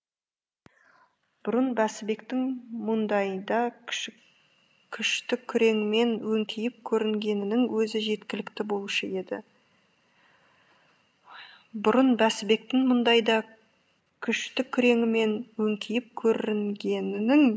бұрын бәсібектің мұндайда күшті күреңмен өңкиіп көрінгенінің өзі жеткілікті болушы еді бұрын бәсібектің мұндайда күшті күреңімен өңкиіп көрінгенінің